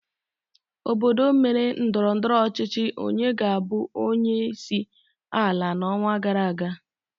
Obodo mere ndọrọndọrọ ọchịchị onye ga-abụ onyeisi ala n'ọnwa gara aga